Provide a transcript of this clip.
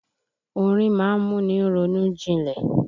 Orin ma ń múni ronú jinlẹ̀.